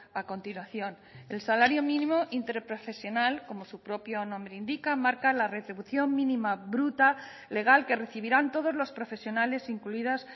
a continuación el salario mínimo interprofesional como su propio nombre indica marca la retribución mínima bruta legal que recibirán todos los profesionales incluidas